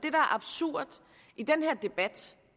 er absurd i den her debat